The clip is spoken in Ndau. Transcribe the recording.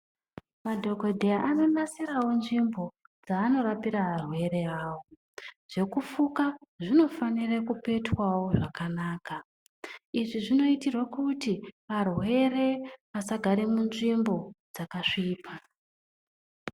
Madhokodheya anonasirawo nzvimbo dzaanorapira arwere avo. Zvekufuka zvinofanira kupetwawo zvakanaka izvi zvinoitirwe kuti arwere asagara munzvimbo dzakasvipa.